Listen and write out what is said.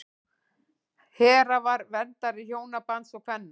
hera var verndari hjónabands og kvenna